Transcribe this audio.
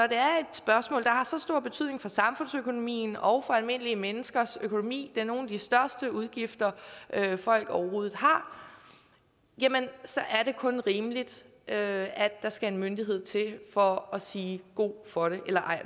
spørgsmål der har så stor betydning for samfundsøkonomien og for almindelige menneskers økonomi det er nogle af de største udgifter folk overhovedet har så er det kun rimeligt at der skal en myndighed til for at sige god for det eller